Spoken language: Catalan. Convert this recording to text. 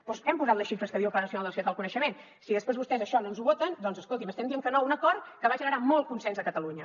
doncs hi hem posat les xifres que diu el pla nacional per a la societat del coneixement si després vostès això no ens ho voten escoltin estem dient que no a un acord que va generar molt consens a catalunya